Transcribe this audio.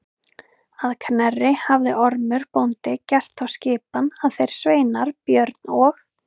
Að Knerri hafði Ormur bóndi gert þá skipan að þeir sveinar Björn og